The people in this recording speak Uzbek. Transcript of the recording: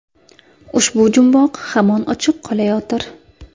Ushbu jumboq hamon ochiq qolayotir.